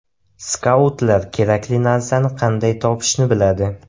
Skautlar kerakli narsani qanday topishni biladi.